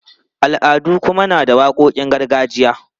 Al'adu kuma na da waƙoƙin gargajiya.